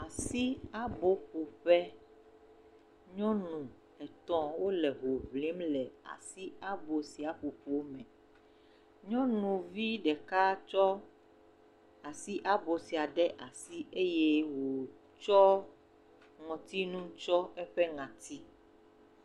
Asi abɔƒoƒe, nyɔnu etɔ wo le hoŋlim le asi abo sia ƒoƒo me, nyɔnuvi ɖeka tsɔ asi abo sia ɖe asi eye wòtsɔ ŋɔtinu tsiɔ eƒe ŋɔti.